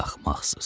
axmaqsız.